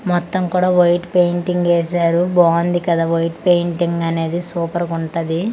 మొత్తం కూడా white painting ఏసారు బాంది కదా వైట్ పెయింటింగ్ అనేది సూపర్గుంటది .